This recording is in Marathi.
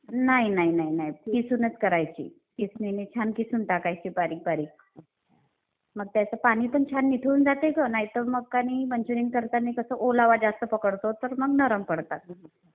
नाही नाही नाही नाही. किसूनच करायची. किसणीने छान किसून टाकायची बारीक बारीक. मग त्याचं पाणी पण छान निथळून जाते ग नाहीतर मग आणि मंचुरीयन करताना कसं ओलावा जास्त पकडतो तर मग नरम पडतात.